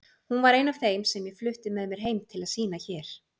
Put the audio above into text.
Hún var ein af þeim sem ég flutti með mér heim til að sýna hér.